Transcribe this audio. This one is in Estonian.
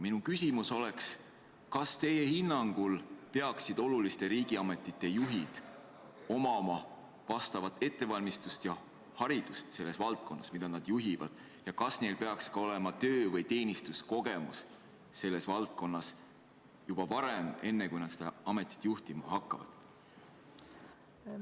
Minu küsimus on järgmine: kas teie hinnangul peaksid oluliste riigiametite juhid omama vastavat ettevalmistust ja haridust selles valdkonnas, mida nad juhivad, ning kas neil peaks selles valdkonnas olema ka varasem töö- või teenistuskogemus, enne kui nad vastavat ametit juhtima hakkavad?